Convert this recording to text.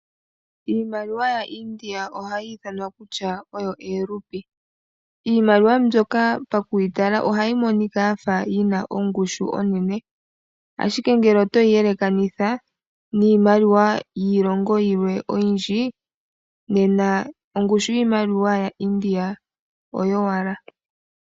Iimaliwa yaIndia oha yi ithanwa kutya oyo eerupee. Iimaliwa mbyoka pakuyitala oha yi monika ya fa yina ongushu onene, ashike ngele oto yi yelekanitha niimaliwa yiilongo yilwe oyindji nena ongushu yiimaliwa yaIndia oyo wala.